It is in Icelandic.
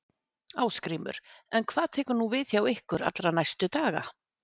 Ásgrímur: En hvað tekur nú við hjá ykkur allra næstu daga?